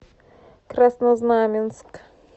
краснознаменск